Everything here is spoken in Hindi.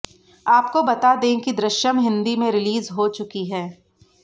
आपको बता दें कि दृश्यम हिंदी में रिलीज हो चुकी है